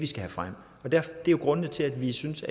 skal have frem det er grunden til at vi synes